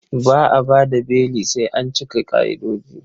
Ba a ba da beli sai an cika ƙa'idoji.